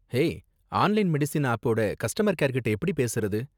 Hey, online medicine ஆப்போட customer கேர்கிட்ட எப்படி பேசுறது?